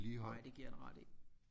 Nej det giver jeg dig ret i